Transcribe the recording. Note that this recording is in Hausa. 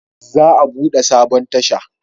Za a bude sabon tasha